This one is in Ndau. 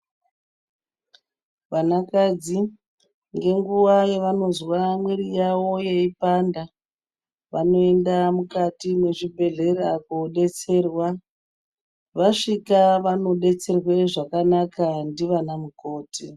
Vanakadzi, ngenguwa yavanozwa mwiri yavo yeipanda ,vanoenda mukati mwezvibhedhera kodetserwa. Vasvika vanodetserwe zvakanaka ndivanamukoti.